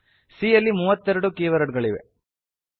C ಯಲ್ಲಿ ಮೂವತ್ತೆರಡು keyword ಗಳಿವೆ